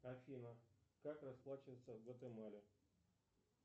афина как расплачиваться в гватемале